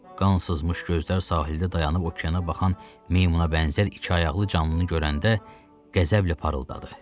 Qan sızmış gözlər sahildə dayanıb okeana baxan meymuna bənzər ikiayaqlı canlıını görəndə qəzəblə parıldadı.